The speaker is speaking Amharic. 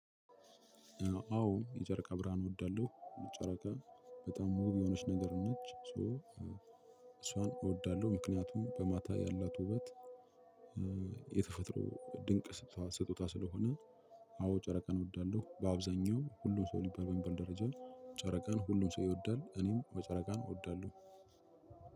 አዎ የጨረቃ ብርሃን እወዳለሁ። ጨረቃ በጣም ውብ የሆነች ነገር ነች ሶ እሷን እወዳለሁ። ምክንያቱም በማታ ያላት ውበት የተፈጥሮ ድንቅ ስጦታ ስለሆነ። አዎ ጨረቃን እወዳለሁ። በአብዛኛው ሁሉ ሰው ሊባል በሚባል ደረጃ- ጨረቃን ሁሉም ሰው ይወዳል። እኔም አዎ ጨረቃን እወዳለሁ።